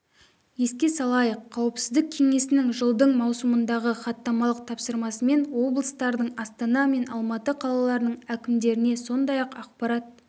еске салайық қауіпсіздік кеңесінің жылдың маусымындағы хаттамалық тапсырмасымен облыстардың астана мен алматы қалаларының әкімдеріне сондай-ақ ақпарат